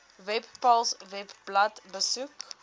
webpals webblad besoek